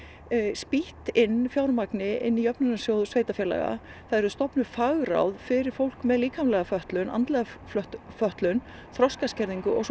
spýtt inn fjármagni inn í jöfnunarsjóð sveitarfélaga það yrðu stofnuð fagráð fyrir fólk með líkamlega fötlun andlega fötlun þroskaskerðingu og svo